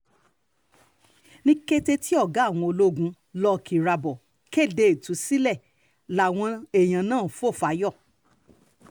ní kété tí ọ̀gá àwọn ológun luck irabor kéde ìtúsílẹ̀ làwọn èèyàn náà ń fò fáyọ̀